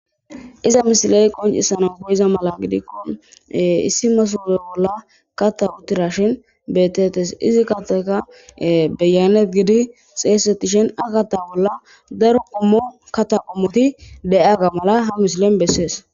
Iza misile qoccissanaw koyiza mala gidikko issi masoobe bolla kata wotiraashin beetetees. Izi kattaykka beyeayneti gizi xeessetishin a kaththa bolla daro qommo kaththa qommoti de7iyagga mala ha misilen besees.